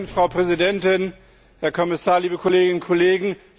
Frau Präsidentin, Herr Kommissar, liebe Kolleginnen und Kollegen!